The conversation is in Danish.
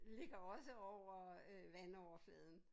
Ligger også over vandoverfladen